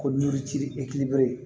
Ko yiri ci e kibɛre